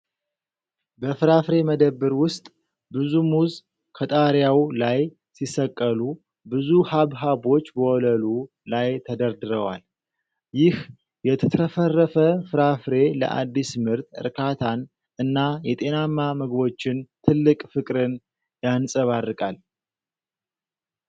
በፍራፍሬ መደብር ውስጥ ብዙ ሙዝ ከጣሪያው ላይ ሲሰቀሉ ብዙ ሐብሐቦች ወለሉ ላይ ተደርድረዋል። ይህ የተትረፈረፈ ፍራፍሬ ለአዲስ ምርት እርካታን እና የጤናማ ምግቦችን ትልቅ ፍቅርን የንጸባርቃል።